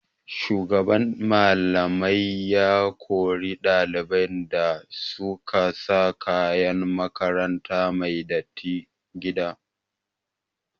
Shugaban Mallamai ya kori ɗaliban da su ka sa kayan makaranta mai datti gida.